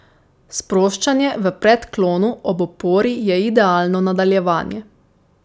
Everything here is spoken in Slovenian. Sproščanje v predklonu ob opori je idealno nadaljevanje.